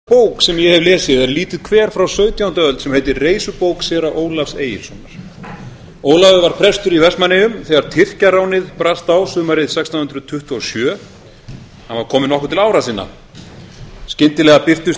virðulegur forseti kæru landsmenn ein minnisstæðasta bók sem ég hef lesið er lítið kver frá sautjándu öld sem heitir reisubók séra ólafs egilssonar ólafur var prestur í vestmannaeyjum þegar tyrkjaránið brast á sumarið sextán hundruð tuttugu og sjö hann var kominn nokkuð til ára sinna skyndilega birtust